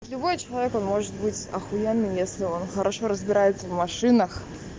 любой человек он может быть ахуенно если он хорошо разбирается в машинах